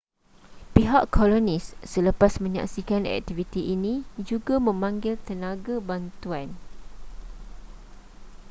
pihak kolonis selepas menyaksikan aktiviti ini juga memanggil tenaga bantuan